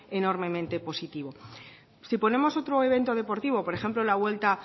enormemente positivo si ponemos otro evento deportivo por ejemplo la vuelta